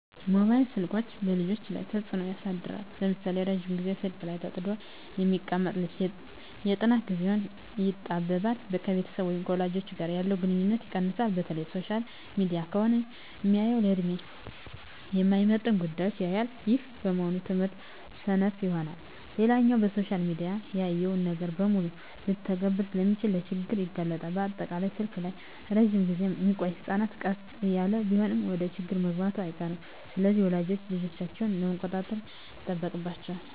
መባይል ስልኮች በልጆች ላይ ተጽኖ ያሳድራል ለምሳሌ:- ረጅም ግዜ ስልክ ላይ ተጥዶ የሚቀመጥ ልጅ የጥናት ግዜው ይጣበባል፣ ከቤተሰብ ወይም ከወላጅ ጋር ያለው ግንኙነት ይቀንሳል፣ በተለይ ሶሻል ሚዲያ ከሆነ ሚያየው ለድሜው የማይመጥን ጉዳዮች ያያል ይህም በመሆኑ በትምህርቱ ሰነፍ ይሆናል። ሌላኛው በሶሻል ሚዲያ ያየውን ነገር በሙሉ ልተግብር ስለሚል ለችግር ይጋለጣል፣ በአጠቃላይ ስልክ ላይ እረጅም ግዜ ሚቆዮ ህጸናት ቀስ እያለም ቢሆን ወደችግር መግባቱ አይቀርም። ስለሆነም ወላጆች ልጆቻቸውን መቆጣጠር ይጠበቅባቸዋል